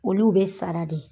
Olu bɛ sara dɛ.